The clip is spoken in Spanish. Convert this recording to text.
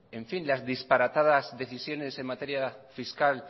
las disparatadas decisiones en materia fiscal